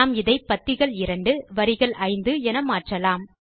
நாம் இதை பத்திகள் 2 வரிகள் 5 என மாற்றலாம்